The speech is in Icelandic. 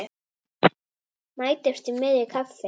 Mætumst í miðju kafi.